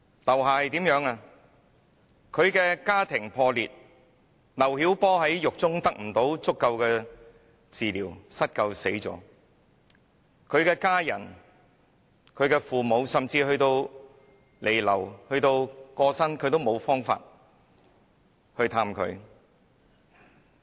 劉霞家庭破裂，丈夫劉曉波在獄中不獲足夠治療而失救死亡，他的家人、父母即使在他彌留至過世，也無法探望他。